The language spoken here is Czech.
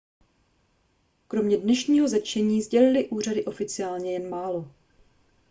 kromě dnešního zatčení sdělily úřady oficiálně jen málo